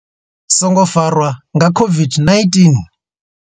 Songo farwa nga COVID-19.